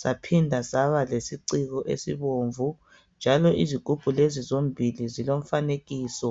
saphinda saba lesiciko esibomvu njalo izigubhu lezi zombili zilomfanekiso.